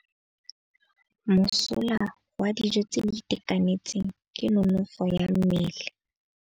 Mosola wa dijô tse di itekanetseng ke nonôfô ya mmele.